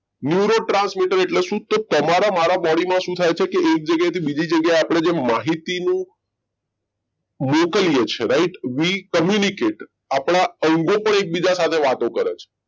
neuro transmitters એટલે શું તમારે મારા body માં શું થાય છે કે એક જગ્યાએથી બીજી જગ્યાએ આપણે જે માહિતીનો મોકલ્યો છે રાઈટ we communicate આપના અંગો પણ એકબીજા સાથે વાતો કરે છે